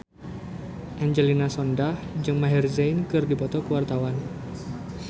Angelina Sondakh jeung Maher Zein keur dipoto ku wartawan